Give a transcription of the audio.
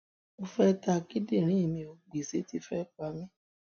mo fẹẹ ta kíndìnrín mi ò gbéṣẹ ti fẹẹ pa mí